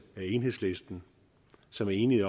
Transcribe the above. af enhedslisten som er enige